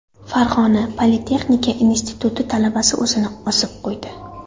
Farg‘ona Politexnika instituti talabasi o‘zini osib qo‘ydi.